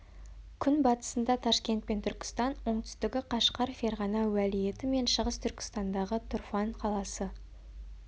күнбатысында ташкент пен түркістан оңтүстігі қашқар ферғана уәлиеті мен шығыс түркістандағы тұрфан қаласы